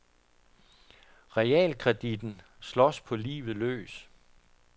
Realkreditten slås på livet løs.